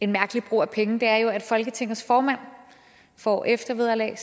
mærkelig brug af penge er at folketingets formand får eftervederlag